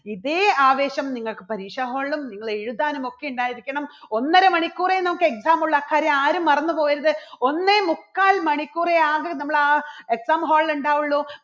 ഇതേ ആവേശം നിങ്ങൾക്ക് പരീക്ഷ hall ലും നിങ്ങള് എഴുതാനും ഒക്കെ ഉണ്ടായിരിക്കണം. ഒന്നര മണിക്കൂറേ നമുക്ക് exam ഉള്ളൂ അക്കാര്യം ആരും മറന്നു പോകരുത്. ഒന്നേ മുക്കാൽ മണിക്കൂറേ ആകെ നമ്മൾ ആ exam hall ൽ ഉണ്ടാവുള്ളൂ.